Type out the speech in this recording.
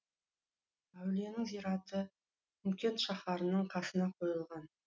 әулиенің зираты құмкент шаһарының қасына қойылған